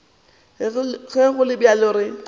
ge go le bjalo re